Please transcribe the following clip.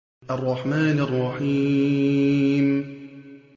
الرَّحْمَٰنِ الرَّحِيمِ